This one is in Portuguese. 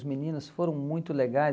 os meninos foram muito legais.